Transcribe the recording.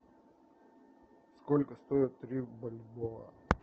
сколько стоит три бальбоа